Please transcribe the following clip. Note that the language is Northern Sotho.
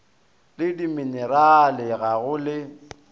le dimenerale ga go le